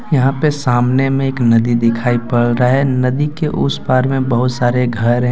यहां पे सामने में एक नदी दिखाई पड़ रहा है नदी के उस पार में बहुत सारे घर हैं।